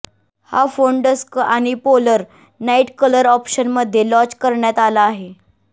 हा phone dusk आणि polar night colour option मध्ये लाँच करण्यात आला आहे